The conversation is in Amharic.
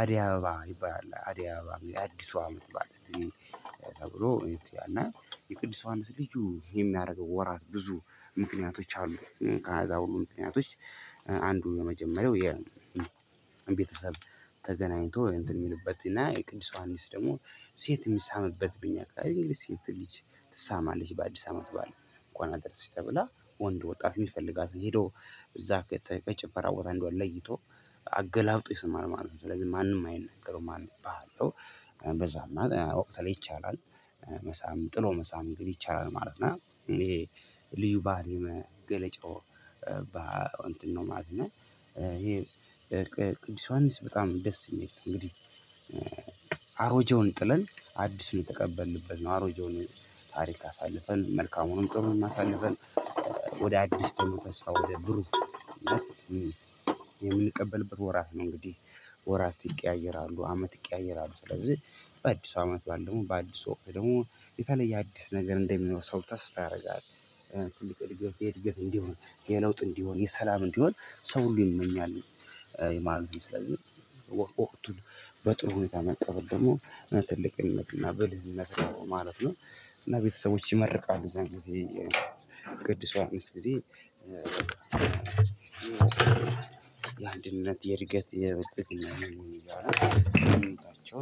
አደይ አበባ ይባላል አደይ አበባ የአዲሱ አመት በዓል። ተብሎ እውነት እና የቅድስት ዮሓንስ ልዩ የሚያረገው ወራት ብዙ ምክንያቶች አሉ። ከአዳማ ሁሉ ምክንያቶች አንዱ የመጀመሪያው የቤተሰብ ተገናኝቶ እንትን የሚልበት እና የቅዱስ ዮሐንስ ደግሞ ሴት የሚሳምበት በእኛ አካባቢ ሴት ልጅ ትሳማለች። በአዲስ አመት በኋላ እንኳን አደረስሽ ተብላ ወንድ ወጣት የሚፈልጋትን ሄዶ እዛ በጭፈራ ወረንዷን ለይቶ አገላብጦ ይስማል ማለት ነው። ስለዚህ ማንም አይነገረውም ማለነው እባላለሁ። በዛ መሃል ወቅት ላይ ይቻላል መሳም ጥሎ መሳም እንግዲህ ይቻላል ማለት ነው። እኔ ልዩ ባህሪ መገለጫው ባህሪ ነው ማለት ነው። ይሄ ቅዱስ ዮሐንስ በጣም ደስ የሚል እንግዲህ አሮጀውን ጥለን አዲሱን የተቀበልንበት ነው። አሮጀውን ታሪክ አሳልፈን መልካሙንም በሙሉ አሳልፈን ወደ አዲስ ተስፋ ወደ ብሩህ የምንቀበልበት ወራት ነው። እንግዲህ ወራት ይቀያየራሉ አመት ይቀያየራሉ። ስለዚህ በአዲሱ አመት በዓል ደግሞ በአዲሱ ወቅት ደግሞ የተለየ አዲስ ነገር እንደሚኖር ሰው ተስፋ ያረጋል። ትልቅ እድገት እንዲሆን የሰላም እንዲሆን ሰው ሁሉ ይመኛል። የማህበራዊ ስለዚህ ወቅቱ በጥሩ ሁኔታ መቀበል ደግሞ ትልቅነትና በልዩነት ነው ማለት ነው። እና ቤተሰቦች ይመርቃሉ የዛን ጊዜ ቅዱስ ዮሐንስ ጊዜ በአንድነት የእድገት የብልጽግና ነው የሚባለው።